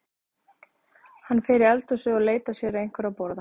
Hann fer í eldhúsið og leitar sér að einhverju að borða.